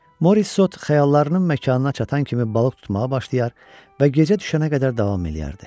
Morissot xəyallarının məkanına çatan kimi balıq tutmağa başlayar və gecə düşənə qədər davam eləyərdi.